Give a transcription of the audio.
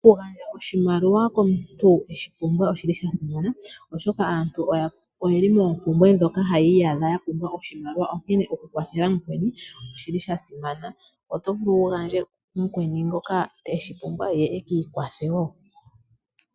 Okugandja oshimaliwa komuntu eshi pumbwa oshi li sha simana oshoka aantu oye li moompumbwe dhoka haya iyadha ya pumbwa oshimaliwa, onkene okukwathela mukweni oshi li sha simana. Oto vulu wu gandje ku mukweni ngoka eshi pumbwa ye a ka ikwathe wo.